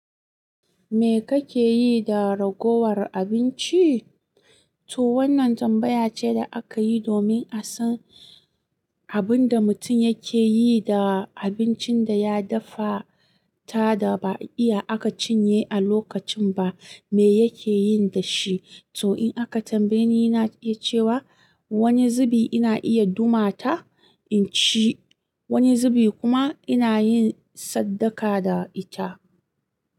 Me kake yi da ragowar abinci? To wannan tambaya ce da aka yi domin a san abin da mutum yake yi da abincin da ya dafa ta da ba iya aka cinye a lokacin ba, me yake yin da shi. To in aka tambaye ni, ina iya cewa wani zubi ina iya duma ta in ci, wani zubi kuma ina yin sadaka da ita.